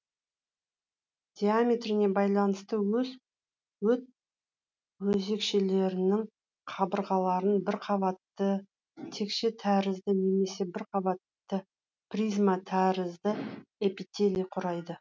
диаметріне байланысты өт өзекшелерінің қабырғаларын бірқабатты текше тәрізді немесе бірқабатты призма тәрізді эпителий құрайды